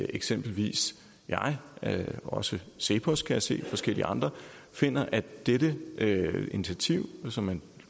eksempelvis jeg og også cepos kan jeg se og forskellige andre finder at dette initiativ som man